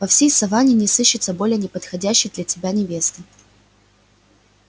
во всей саванне не сыщется более неподходящей для тебя невесты